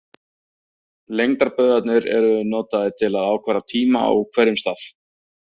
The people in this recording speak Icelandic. Lengdarbaugarnir eru notaðar til að ákvarða tíma á hverjum stað.